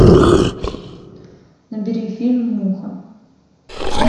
набери фильм муха